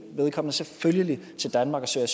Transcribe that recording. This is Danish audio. vedkommende selvfølgelig til danmark og søge